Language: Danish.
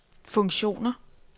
funktioner